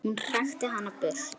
Hún hrakti hana burt.